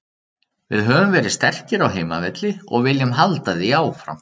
Við höfum verið sterkir á heimavelli og viljum halda því áfram.